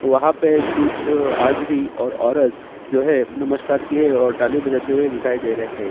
वहाँ पे कुछ आदमी और औरत जो है नमस्कार किए और ताली बजाते हुए दिखाई दे रहे हैं।